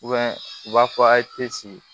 u b'a fɔ a ye